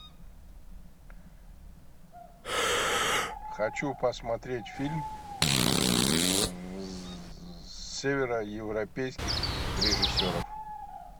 хочу посмотреть фильм северо европейских режиссеров